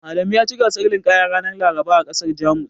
Adamu yaci gasar linƙaya ranar Laraba a ƙasar Jamus.